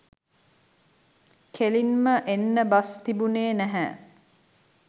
කෙළින්ම එන්න බස් තිබුණේ නැහැ